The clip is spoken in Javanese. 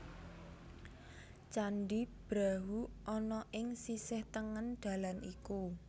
Candhi Brahu ana ing sisih tengen dalan iku